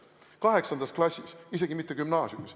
Juba 8. klassis, isegi mitte gümnaasiumis.